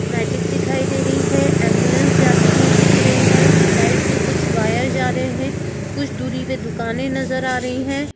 Magic दिखाई दे रही है एंबुलेंस जाती हुई दिख रही है लाइट के कुछ वायर जा रहे हैं कुछ दूरी पे दुकानें नज़र आ रही हैं।